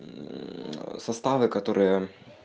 мм составы которые